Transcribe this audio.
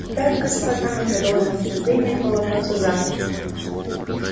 итак господа мы продолжим обсуждение этого вопроса завтра